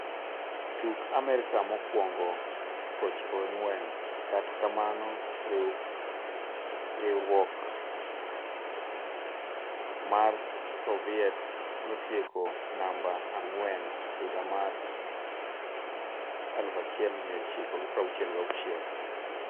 Tuk Amerka mokwongo '94 - kata kamano riwryok mar Soviet notieko namba ang'wen higa mar 1966.